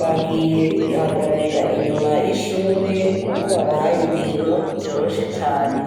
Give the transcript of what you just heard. bagiye bihagararira inyuma y'ishure kuko babahaye ibintu vyoroshe cane.